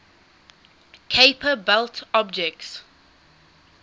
kuiper belt objects